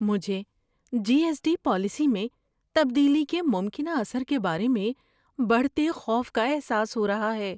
مجھے G S T policy میں تبدیلی کے ممکنہ اثر کے بارے میں بڑھتے خوف کا احساس ہو رہا ہے۔